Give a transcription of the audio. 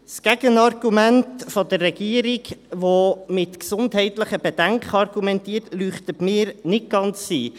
Das Gegenargument der Regierung, die mit gesundheitlichen Bedenken argumentiert, leuchtet mir nicht ganz ein.